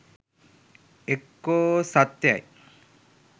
එක්කෝ සත්‍යයි